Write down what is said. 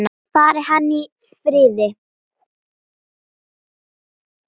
Fari hann í friði.